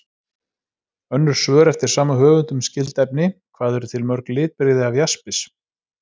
Önnur svör eftir sama höfund um skyld efni: Hvað eru til mörg litbrigði af jaspis?